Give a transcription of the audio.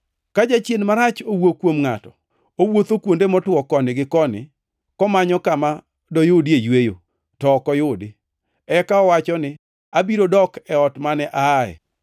“Ka jachien marach owuok kuom ngʼato, owuotho kuonde motwo koni gi koni komanyo kama doyudie yweyo, to ok oyudi. Eka owacho ni, ‘Abiro dok e ot mane aaye.’